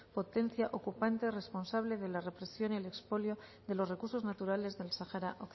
potencia ocupante responsable de la represión y el expolio de los recursos naturales del sahara